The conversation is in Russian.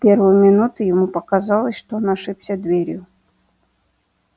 в первую минуту ему показалось что он ошибся дверью